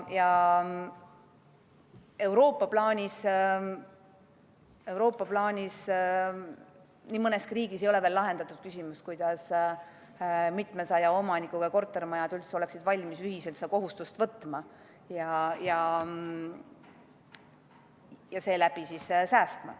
Euroopa plaanis ei ole nii mõneski riigis veel lahendatud küsimus, kuidas mitmesaja omanikuga kortermajad üldse oleksid valmis ühiselt seda kohustust võtma ja seeläbi säästma.